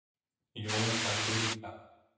Jón þagði líka.